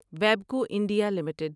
وابکو India limited